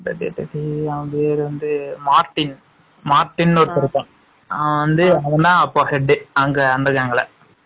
அவன் பெயர் வந்து மார்ட்டின் மார்டினு ஒருத்தன் இருக்கான்.அவன் வந்து அவன் தான் head அங்க அந்த gang ல